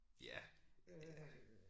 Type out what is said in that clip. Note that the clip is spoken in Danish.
Ja ja